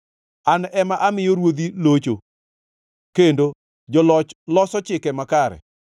An ema amiyo ruodhi locho kendo joloch loso chike makare.